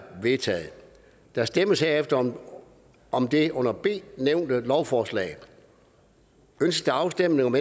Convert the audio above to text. vedtaget der stemmes herefter om det under b nævnte lovforslag ønskes afstemning om